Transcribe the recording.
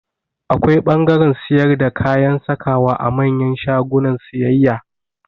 Akwai ɓangaren siyar da kayan sakawa a manyan shagunan siyayya